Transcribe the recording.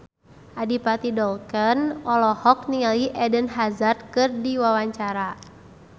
Adipati Dolken olohok ningali Eden Hazard keur diwawancara